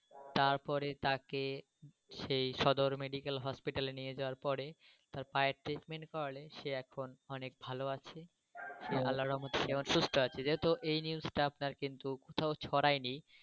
তার পরে তাকে সেই সদর মেডিকেল হসপিটালে নিয়ে যাওয়ার পরে তার পায়ের treatment করালে সে এখন অনেক ভালো আছে। আল্লাহ র রেহেমত এ সুস্থ আছে. যেহেতু এই news টা আপনার কিন্তু কোথাও ছরাইনি।